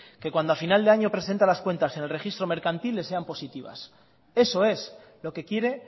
que cuando a final de año presenta las cuentas en el registro mercantil le sean positivas eso es lo que quiere